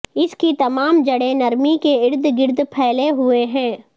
اس کی تمام جڑیں نرمی کے ارد گرد پھیلے ہوئے ہیں